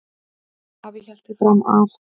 Afi hélt því fram að